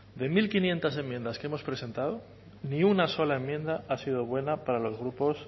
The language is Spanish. de mil quinientos enmiendas que hemos presentado ni una sola enmienda ha sido buena para los grupos